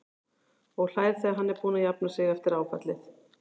Og hlær þegar hann er búinn að jafna sig eftir áfallið.